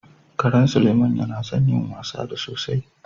Karan Suleiman yana son yin wasa da sosai